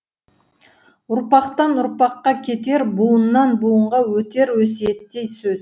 ұрпақтан ұрпаққа кетер буыннан буынға өтер өсиеттей сөз